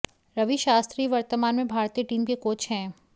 रवि शास्त्री वर्तमान में भारतीय टीम के कोच हैं